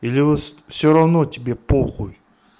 или вы все равно тебе похуй